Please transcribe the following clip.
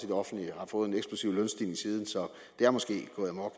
det offentlige har fået en eksplosiv lønstigning siden så det er måske gået amok